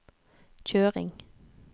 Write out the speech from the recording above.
kjøring